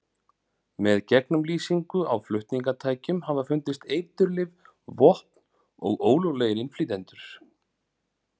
Með gegnumlýsingu á flutningatækjum hafa fundist eiturlyf, vopn og ólöglegir innflytjendur.